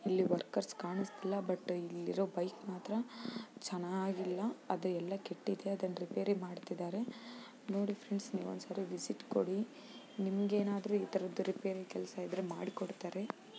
ಇಲ್ಲಿ ವರ್ಕರ್ಸ್ ಕಾಣಿಸ್ತಿಲ್ಲ ಬಟ್ ಇಲ್ಲಿ ಇರೋ ಬೈಕ್ ಮಾತ್ರ ಚೆನ್ನಾಗಿಲ್ಲ ಅದು ಎಲ್ಲ ಕೆಟ್ಟಿದೆ ಅದನ್ ರಿಪೇರಿ ಮಾಡ್ತಿದರೆ ನೋಡಿ ಫ್ರೆಂಡ್ಸ್ ನೀವು ಒಂದ್ಸಲ ವಿಸಿಟ್ ಕೊಡಿ ನಿಮಗೆ ಏನಾದರೂ ಈ ತರದ್ ರಿಪೇರಿ ಕೆಲಸ ಇದ್ದರೆ ಮಾಡಿಕೊಡುತ್ತಾರೆ.